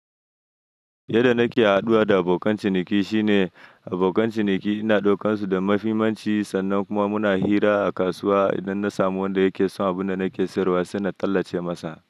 Yadda nake haɗuwa da abokan ciniki shine abokan ciniki ina ɗaukansu da mafimanci sannan kuma muna hira a kasuwa. Idan na samu wanda yake son abunda nake sayarwa sai na tallace masa.